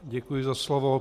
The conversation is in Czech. Děkuji za slovo.